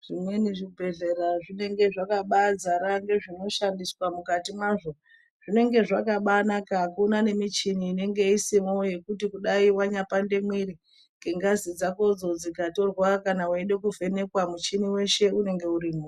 Zvimweni zvibhedhlera zvinenge zvakabazara ngezvinoshandiswa mukati mazvo zvinenge zvakabanaka akuna nemichini inenge isimo ngekuti kudai pandemwiri kudai ngengazi dzako dzikatorwa kana weida kuvhenekwa michini yeshe inenge irimo.